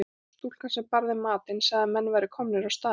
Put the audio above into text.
Stúlkan sem bar þeim matinn sagði að menn væru komnir á staðinn.